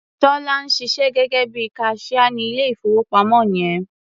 Tọ́lá ń ṣiṣẹ́ gẹ́gẹ́ bí i kaṣíá ní ilé-ìfowópamọ́ yẹn.